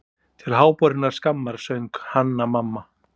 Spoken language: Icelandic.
Til háborinnar skammar, söng Hanna-Mamma.